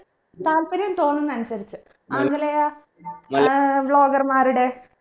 താൽപര്യം തോന്നുന്നേ അനുസരിച്ച് ആംഗലേയ ഏർ vlogger മാരുടെ